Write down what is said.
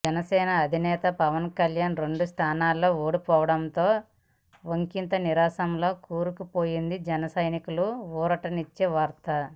జనసేన అధినేత పవన్ కళ్యాణ్ రెండు స్థానాల్లో ఓడిపోవడంతో ఒకింత నిరాశలో కూరుకుపోయిన జనసైనికులకు ఊరటనిచ్చే వార్త